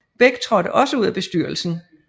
Beck traadte også ud af bestyrelsen